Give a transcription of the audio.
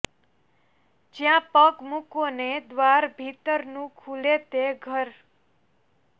જ્યાં પગ મૂકો ને દ્વાર ભીતરનું ખૂલે તે ઘર